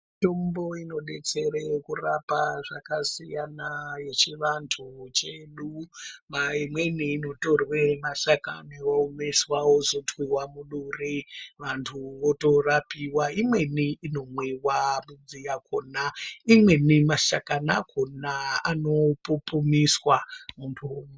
Mitombo inodetsere kurapa zvakasiyana yechivantu chedu, imweni inotorwe mashakani oomeswa ozotwiwa muduri vantu votorapiwa, imweni inomwiwa midzi yakhona imweni mashakani akhona anopupumiswa muntu.